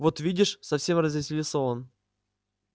вот видишь совсем развеселился он